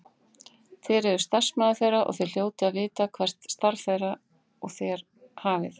Þér eruð starfsmaður þeirra og þér hljótið að vita hvert starf þeir og þér hafið.